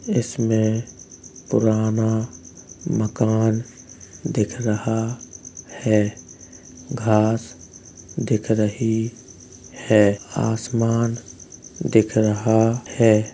इसमें पुराना मकान दिख रहा है। घांस दिख रही है। आसमान दिख रहा है।